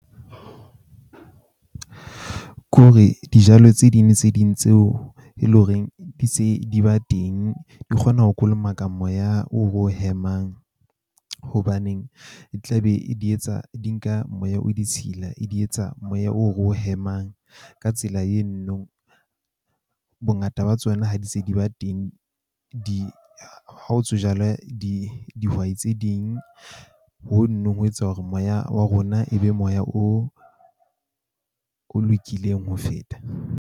Ke hore dijalo tse ding le tse ding, tseo e leng horeng di se di ba teng. Di kgona ho kolomaka moya o ro o hemang, hobaneng e tla be di etsa di nka moya o ditshila, e di etsa moya o ro o hemang. Ka tsela , bongata ba tsona ha di se di ba teng, di ha o di dihwai tse ding hono ho etsa hore moya wa rona e be moya o o lokileng ho feta.